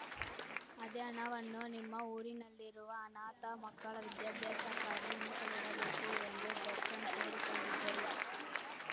ಅದೇ ಹಣವನ್ನು ನಿಮ್ಮ ಊರಿನಲ್ಲಿರುವ ಅನಾಥ ಮಕ್ಕಳ ವಿದ್ಯಾಭ್ಯಾಸಕ್ಕಾಗಿ ಮೀಸಲಿಡಬೇಕು ಎಂದು ದರ್ಶನ್‌ ಕೋರಿಕೊಂಡಿದ್ದರು